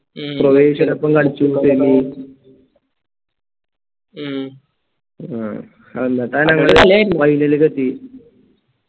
ക്രൊയേഷ്യയെടോപ്പം കളിച്ചു final ലേക്കെത്തി